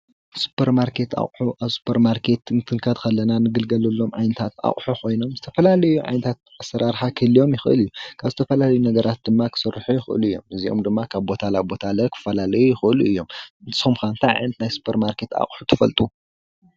ስፖርማርኬት ኣቅሑ ኣብ ስፖርማርኬት ክንከድ ከለና እንግልገለሎም ዓይነታት ኣቅሑ ኮይኖም ዝተፈላለየ ዓይነት ኣሰራርሓ ክህልዎም ይክእል እዩ፡፡ ካብ ዝተፈላለዩ ነገራት ድማ ክስርሑ ይክእሉ እዮም፡፡ እዚኦም ድማ ካብ ቦታ ናብ ቦታ ክፈላለዩ ይክእሉ እዮም፡፡ ንስኩም ከ እንታይ ዓይነት ናይ ሱፐርማርኬት ኣቅሑ ትፈልጡ?